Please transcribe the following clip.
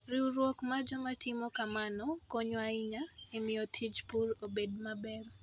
Riwruok mar joma timo kamano konyo ahinya e miyo tij pur obed maber.